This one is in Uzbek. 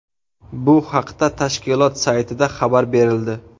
Bu haqda tashkilot saytida xabar berildi .